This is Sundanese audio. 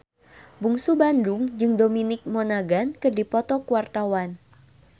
Bungsu Bandung jeung Dominic Monaghan keur dipoto ku wartawan